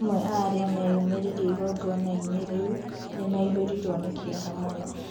Amwe a arĩa meyũmĩririe igongona-inĩ rĩu nĩmehĩrĩirwo nĩ kĩeha mũno